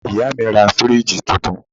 Ìyá mi ra fíríìjì tuntun